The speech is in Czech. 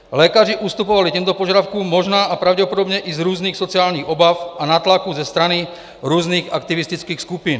Lékaři ustupovali těmto požadavkům možná a pravděpodobně i z různých sociálních obav a nátlaků ze strany různých aktivistických skupin.